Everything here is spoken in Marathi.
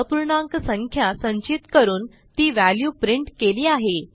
अपूर्णाक संख्या संचित करून ती व्हॅल्यू प्रिंट केली आहे